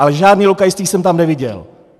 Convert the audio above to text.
Ale žádné lokajství jsem tam neviděl.